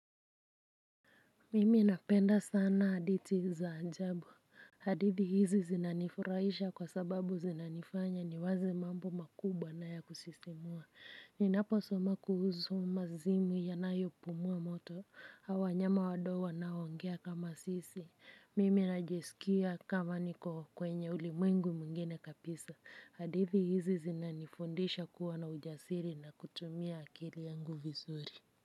Mimi napenda sana hadhiti za ajabu. Hadithi hizi zinanifurahisha kwa sababu zinanifanya ni waze mambo makubwa na ya kusisimua. Ninapo soma kuhusu mazimu yanayo pumua moto, au wanyama wadogo wanao ongea kama sisi. Mimi najisikia kama niko kwenye ulimwengu mwingine kabisa hadithi hizi zinanifundisha kuwa na ujasiri na kutumia akili yangu vizuri.